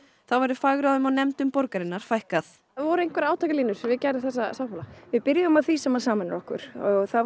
þá verður fagráðum og nefndum borgarinnar fækkað voru einhverjar átakalínur við gerð þessa sáttmála við byrjuðum á því sem sameinar okkur og það